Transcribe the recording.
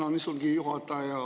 Tänan, istungi juhataja!